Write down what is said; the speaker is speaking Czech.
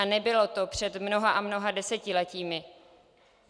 A nebylo to před mnoha a mnoha desetiletími.